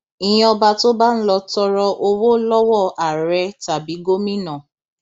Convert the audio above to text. ìyẹn ọba tó bá ń lọo tọrọ owó lọwọ àárẹ tàbí gómìnà